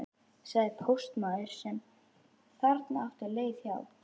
sagði póstmaður sem þarna átti leið hjá.